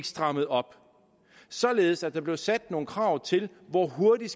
stramme op således at der blev sat nogle krav til hvor hurtigt